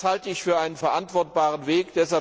Das halte ich für einen verantwortbaren Weg.